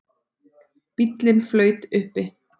Bíllinn flaut uppi